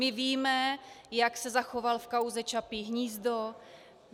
My víme, jak se zachoval v kauze Čapí hnízdo.